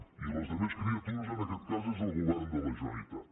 i les altres criatures en aquest cas és el govern de la generalitat